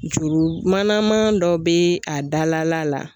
Juru manaman dɔ bɛ a dala la.